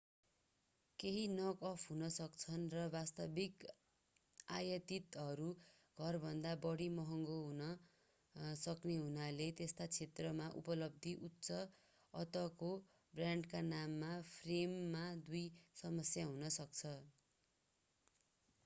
केहि knock off हुन सक्छन्‌ र वास्तविक आयातितहरू घरभन्दा बढी महँगो हुन सक्ने हुनाले त्यस्ता क्षेत्रमा उपलब्ध उच्च अन्तको ब्रान्डका नाम फ्रेममा दुई समस्या हुन सक्छ।